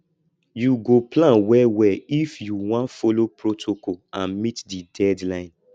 you go plan wellwell if you wan folo protocol and meet di deadline